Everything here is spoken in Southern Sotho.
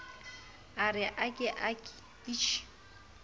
a re ake uke ichi